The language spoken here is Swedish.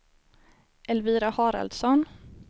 Elvira Haraldsson